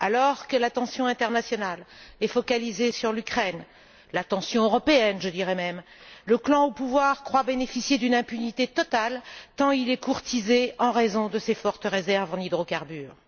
Alors que la tension internationale est focalisée sur l'Ukraine, la tension européenne, je dirai même, le clan au pouvoir croit bénéficier d'une impunité totale, tant il est courtisé en raison de ses fortes réserves en hydrocarbures.